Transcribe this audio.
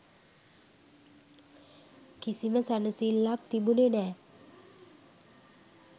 කිසිම සැනසිල්ලක් තිබුනෙ නෑ